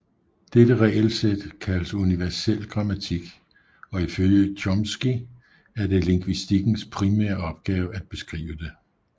Dette regelsæt kaldes universel grammatik og ifølge Chomsky er det lingvistikkens primære opgave at beskrive det